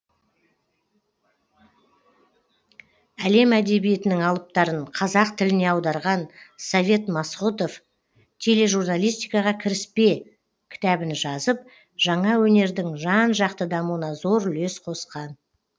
әлем әдебиетінің алыптарын қазақ тіліне аударған совет масғұтов тележурналистикаға кіріспе кітабын жазып жаңа өнердің жан жақты дамуына зор үлес қосқан